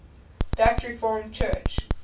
dutch reformed church